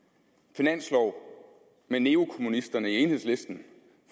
finanslov med neokommunisterne i enhedslisten